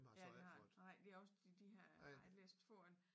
Ja det har nej vi også de her har jeg læst få af